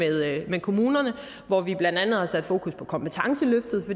med kommunerne hvor vi blandt andet har sat fokus på kompetenceløftet